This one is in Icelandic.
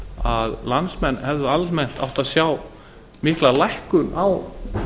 að landsmenn hefðu almennt átt að sjá mikla lækkun á